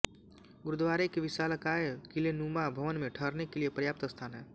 गुरुद्वारे के विशालकाय किलेनुमा भवन में ठहरने के लिए पर्याप्त स्थान है